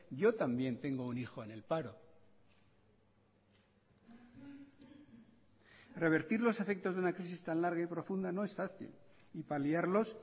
yo también tengo un hijo en el paro revertir los efectos de una crisis tan larga y profunda no es fácil y paliarlos